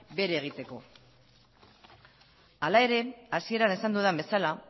bere egiteko hala ere hasieran esan dudan bezala